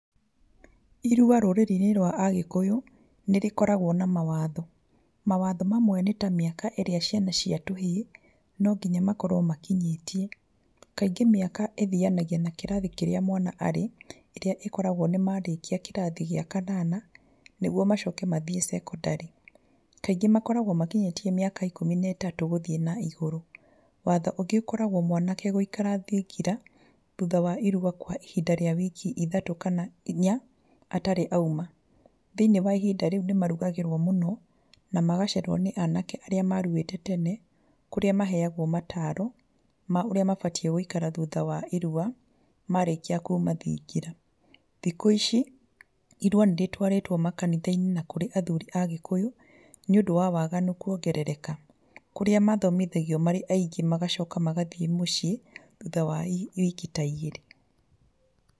Irua rũrĩrĩ-inĩ rwa agĩkũyũ nĩ rĩkoragwo na mawatho. Mawatho mamwe nĩ ta mĩaka ĩrĩa ciana cia tũhĩĩ no nginya makorwo makinyĩtie. Kaingĩ mĩaka ĩthianagia na kĩrathi kĩrĩa mwana arĩ, ĩrĩa ĩkoragwo nĩ marĩkia kĩrathi gĩa kanana, nĩguo macoke mathiĩ cekondari. Kaingĩ makoragwo makinyĩtie mĩaka ikũmi netatũ gũthiĩ na igũrũ. Watho ũngĩ ũkoragwo mwanake gũikara thingira thutha wa irua kwa ihinda rĩa wiki ithatũ kana inya atarĩ auma. Thĩiniĩ wa ihinda rĩu nĩ marugagĩrwo mũno na magacererwo nĩ anake arĩa maruĩte tene, kũrĩa maheagwo mataaro ma ũrĩa mabatiĩ gũikara thutha wa irua marĩkia kuuma thingira. Thikũ ici, irua nĩrĩtwarĩtwo makanitha-inĩ na kũrĩ athuri agĩkũyũ, nĩ ũndũ wa waganu kwongerereka, kũrĩa mathomithagio marĩ aingĩ magacoka magathiĩ mũciĩ thutha wa wiki ta igĩrĩ.